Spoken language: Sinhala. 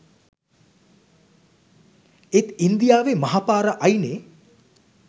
ඒත් ඉන්දියාවේ මහ පාර අයිනේ